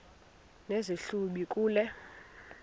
nesi hlubi kule